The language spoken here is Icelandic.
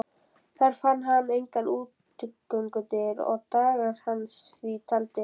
Þar fann hann engar útgöngudyr og dagar hans því taldir.